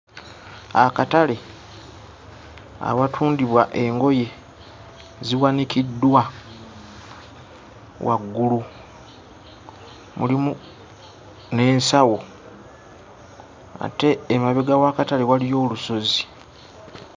Akatale awatundibwa engoye ziwanikiddwa waggulu mulimu n'ensawo ate emabega w'akatale waliyo olusozi.